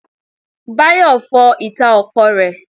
Báyọ̀ fọ ìta ọkọ̀ rẹ.